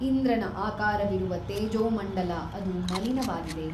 ಇಂದ್ರನ ಆಕಾರವಿರುವ ತೇಜೋಮಂಡಲ ಅದೂ ಮಲಿನವಾಗಿದೆ.